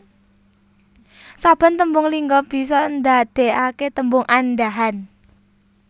Saben tembung lingga bisa ndadekake tembung andhahan